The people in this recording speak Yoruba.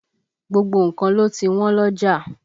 Gbogbo nǹkan ló ti wọ́n lọ́jà